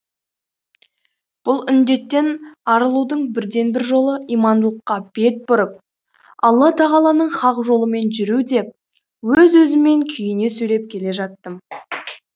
бұл індеттен арылудың бірден бір жолы имандылыққа бет бұрып алла тағаланың хақ жолымен жүру деп өз өзіммен күйіне сөйлеп келе жаттым